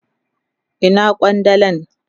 Ina kwandalan?